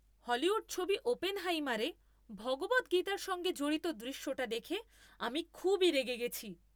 Hollywood ছবি "ওপেনহাইমার"এ ভগবদ্গীতার সঙ্গে জড়িত দৃশ্যটা দেখে আমি খুবই রেগে গেছি।